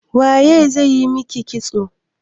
Waye zai yi maki kitso?